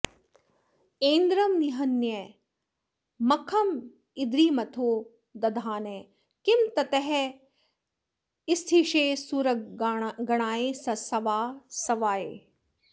ऐन्द्रं निहन्य मखमद्रिमथो दधानः किं तस्थिषे सुरगणाय सवासवाय